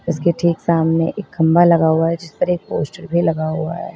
उसके ठीक सामने एक खंभा लगा हुआ है जिस पर एक पोस्टर भी लगा हुआ है।